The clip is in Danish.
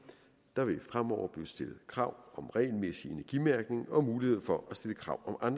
der vil fremover blive stillet krav om regelmæssig energimærkning og mulighed for at stille krav om